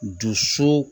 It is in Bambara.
Dusu